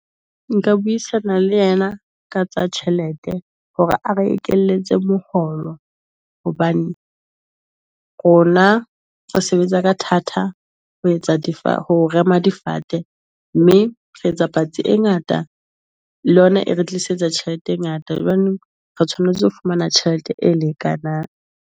Nka buisana le yena ka tsa tjhelete hore a re ekeletse mokgolo hobane rona re sebetsa ka thata, ho etsa di fa ho rema difate mme re etsa patsi e ngata, le yona e re tlisetsa tjhelete e ngata. Jwanong , re tshwanetse ho fumana tjhelete e lekanang.